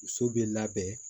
Muso bɛ labɛn